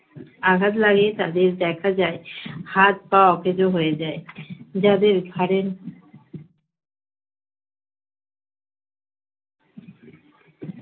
আঘাত লাগে তাদের দেখা যায় হাত-পা অকেজ হয়ে যায় যাদের ঘাড়ের